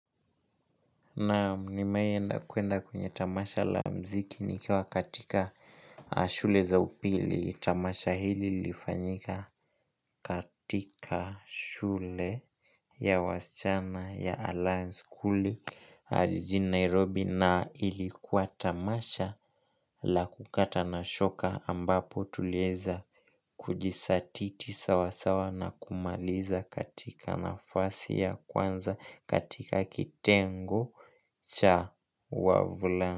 Naam nimeenda kwenda kwenye tamasha la mziki nikiwa katika shule za upili. Tamasha hili lifanyika katika shule ya waschana ya Alliance School. Ah jijin Nairobi na ilikuwa tamasha la kukata na shoka ambapo tulieza kujisatiti sawasawa na kumaliza katika nafasi ya kwanza katika kitengo cha wavulana.